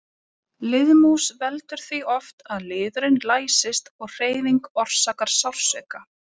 Liðmús veldur því oft að liðurinn læsist og hreyfing orsakar sársauka.